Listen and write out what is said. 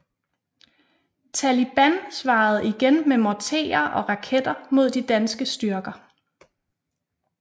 Taliban svarede igen med morterer og raketter mod de danske styrker